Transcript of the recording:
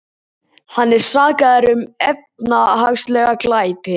Hann er sakaður um efnahagslega glæpi